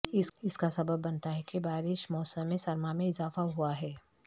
اس کا سبب بنتا ہے کہ بارش موسم سرما میں اضافہ ہوا ہے